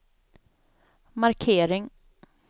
markering